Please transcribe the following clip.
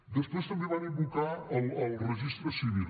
després també van invocar el registre civil